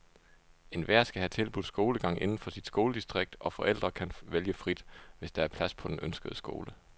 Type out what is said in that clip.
Enhver skal have tilbudt skolegang inden for sit skoledistrikt, og forældre kan vælge frit, hvis der er plads på den ønskede skole.